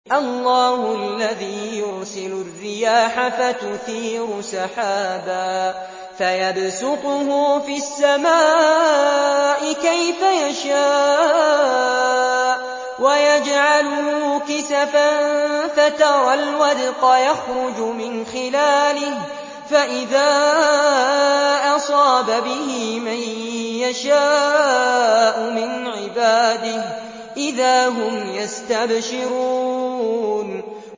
اللَّهُ الَّذِي يُرْسِلُ الرِّيَاحَ فَتُثِيرُ سَحَابًا فَيَبْسُطُهُ فِي السَّمَاءِ كَيْفَ يَشَاءُ وَيَجْعَلُهُ كِسَفًا فَتَرَى الْوَدْقَ يَخْرُجُ مِنْ خِلَالِهِ ۖ فَإِذَا أَصَابَ بِهِ مَن يَشَاءُ مِنْ عِبَادِهِ إِذَا هُمْ يَسْتَبْشِرُونَ